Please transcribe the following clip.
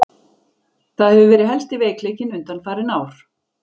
Það hefur verið helsti veikleikinn undanfarin ár.